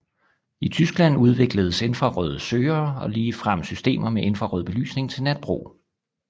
I Tyskland udvikledes infrarøde søgere og ligefrem systemer med infrarød belysning til natbrug